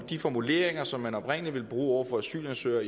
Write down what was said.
de formuleringer som man oprindelig ville bruge over for asylansøgere